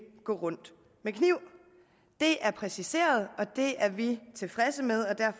gå rundt med kniv det er præciseret og det er vi tilfredse med